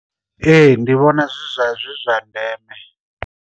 Ee ndi vhona zwi zwa zwi zwa ndeme.